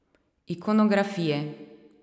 Ikonografije.